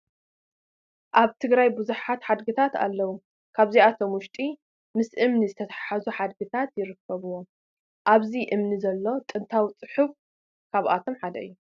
ኣብ ትግራይ ብዙሓት ሓድግታት ኣለዉ፡፡ ካብዚኣቶም ውሽጢ ምስ እምኒ ዝተተሓዙ ሓድግታት ይርከብዎም፡፡ ኣብዚ እምኒ ዘሎ ጥንታዊ ፅሑፍ ካብኣቶም ሓደ እዩ፡፡